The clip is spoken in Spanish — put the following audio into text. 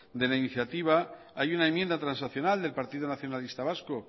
de la iniciativa hay una enmienda transaccional del partido nacionalista vasco